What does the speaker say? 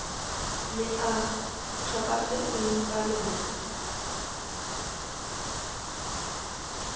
le a tlhokafetseng ka lona